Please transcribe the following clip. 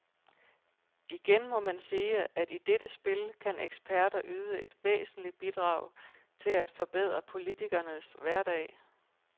Igen må man sige, at i dette spil kan eksperter yde et væsentligt bidrag til at forbedre politikernes hverdag.